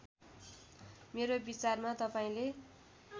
मेरो विचारमा तपाईँले